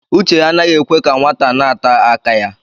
Uche anaghị ekwe ka nwata na-ata aka ya.